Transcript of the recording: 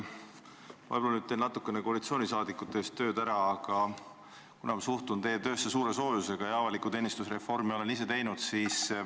Ma võib-olla teen natukene koalitsioonisaadikute eest tööd ära, aga ma suhtun teie töösse suure soojusega ja avaliku teenistuse reformi olen ka ise teinud.